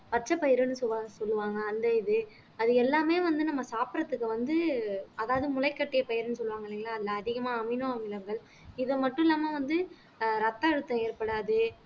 பச்சைப்பயிறுன்னு சொல்லு சொல்லுவாங்க அந்த இது அது எல்லாமே வந்து நம்ம சாப்பிடறதுக்கு வந்து அதாவது முளைகட்டிய பயிறுன்னு சொல்லுவாங்க இல்லைங்களா அந்த அதிகமா அமினோ அமிலங்கள் இது மட்டும் இல்லாம வந்து ஆஹ் ரத்த அழுத்தம் ஏற்படாது